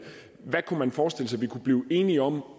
hvad man kunne forestille sig vi kunne blive enige om